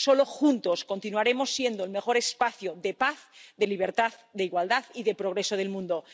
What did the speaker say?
Solo juntos continuaremos siendo el mejor espacio de paz, de libertad, de igualdad y de progreso del mundo.